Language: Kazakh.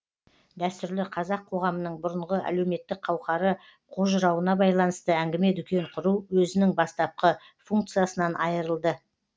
дәстүрлі қазақ коғамының бұрынғы әлеуметтік қауқары қожырауына байланысты әңгіме дүкен құру өзінің бастапқы функциясынан айырылды